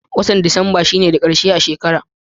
Watan disamba shi ne da karshe a shekara.